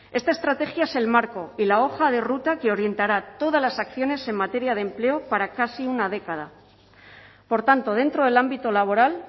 esta estrategia es el marco y la hoja de ruta que orientará todas las acciones en materia de empleo para casi una década por tanto dentro del ámbito laboral